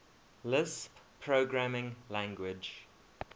lisp programming language